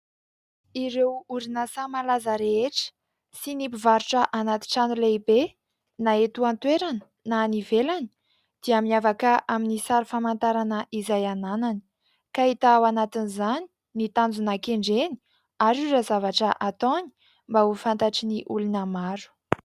Ireo orinasa malaza rehetra sy ny mpivarotra anaty trano lehibe na eto an-toerana na any ivelany dia miavaka amin'ny sary famantarana izay ananany, ka hita ao anatin'izany ny tanjona kendreny ary ireo zavatra ataony mba ho fantatry ny olona maro.